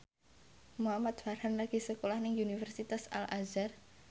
Muhamad Farhan lagi sekolah nang Universitas Al Azhar